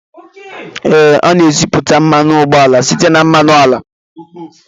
Ee, a na-esipụta mmanụ ụgbọala site na mmanụ ala